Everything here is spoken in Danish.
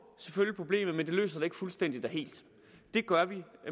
selvfølgelig problemet men det løser det ikke fuldstændigt og helt det gør vi